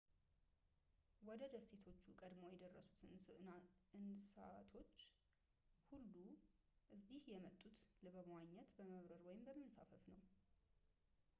ወደ ደሴቶቹ ቀድመው የደረሱት እንሳቶች ሁሉ እዚህ የመጡት በመዋኘት በመብረር ወይም በመንሳፈፍ ነው